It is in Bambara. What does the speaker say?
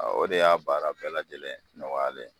Ɔ o de y'a baara bɛɛ lajɛlen nɔgɔyalen ye.